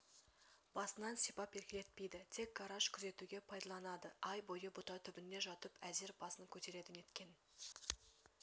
басынан сипап еркелетпейді тек гараж күзетуге пайдаланады ай бойы бұта түбінде жатып әзер басын көтереді неткен